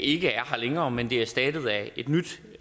ikke er her længere men det er erstattet af et nyt